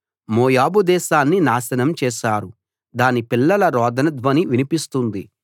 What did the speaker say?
మోయాబు దేశాన్ని నాశనం చేశారు దాని పిల్లల రోదన ధ్వని వినిపిస్తుంది